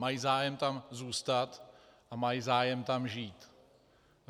Mají zájem tam zůstat a mají zájem tam žít.